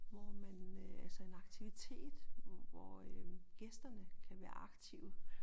Hvor man øh altså en aktivitet hvor øh gæsterne kan være aktive